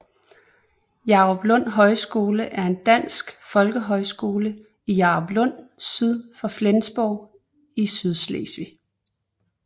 Jaruplund Højskole er en dansk folkehøjskole i Jaruplund syd for Flensborg i Sydslesvig